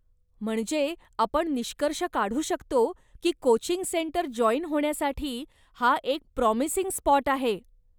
म्हणजे आपण निष्कर्ष काढू शकतो की कोचिंग सेंटर जाॅईन होण्यासाठी हा एक प्राॅमिसिंग स्पाॅट आहे.